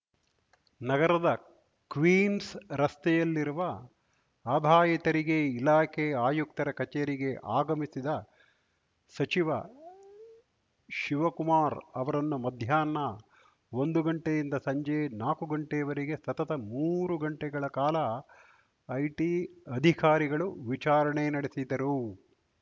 ನಗರದ ಕ್ವೀನ್ಸ್ ರಸ್ತೆಯಲ್ಲಿರುವ ಆದಾಯ ತೆರಿಗೆ ಇಲಾಖೆ ಆಯುಕ್ತರ ಕಚೇರಿಗೆ ಆಗಮಿಸಿದ ಸಚಿವ ಶಿವಕುಮಾರ್‌ ಅವರನ್ನು ಮಧ್ಯಾಹ್ನ ಒಂದು ಗಂಟೆಯಿಂದ ಸಂಜೆ ನಾಕು ಗಂಟೆವರೆಗೆ ಸತತ ಮೂರು ಗಂಟೆಗಳ ಕಾಲ ಐಟಿ ಅಧಿಕಾರಿಗಳು ವಿಚಾರಣೆ ನಡೆಸಿದರು